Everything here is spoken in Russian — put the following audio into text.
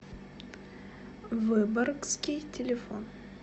выборгский телефон